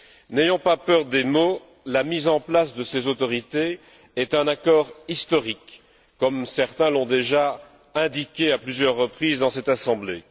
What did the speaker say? N'ayons pas peur des mots, la mise en place de ces autorités est un accord historique, comme certains l'ont déjà indiqué à plusieurs reprises dans cette Assemblée.